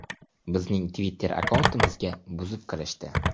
Bizning Twitter-akkauntimizga buzib kirishdi.